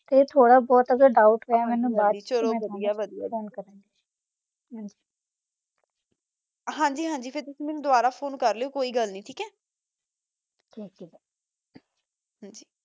ਅਗਰ ਥੋਰਾ ਬੋਤਾ ਦੋਉਬ੍ਤ ਹੋਇਆ ਨਾ ਤਾ ਮਾ ਟੋਨੋ ਦਸ ਦਯਾ ਦੀ ਮਾ ਫੋਨੇ ਕਰ ਲਾਵਾ ਗੀ ਹਨ ਜੀ ਹਨ ਜੀ ਜਿਥੋ ਸਮਾਜ ਨਾ ਆਵਾ ਤਾ ਤੁਸੀਂ ਮੇਨੋ ਦੋਬਰਾ ਫੋਨੇ ਕਰ ਲ੍ਯ ਗਾ ਠੀਕ ਆ ਗੀ